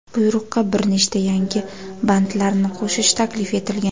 Buyruqqa bir nechta yangi bandlarni qo‘shish taklif etilgan.